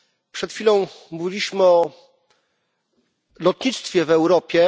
Przed chwilą mówiliśmy o lotnictwie w Europie.